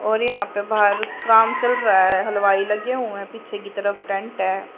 और यहां पे बाहर काम चल रहा है। हलवाई लगे हुए है। पीछे की तरफ टैंट है।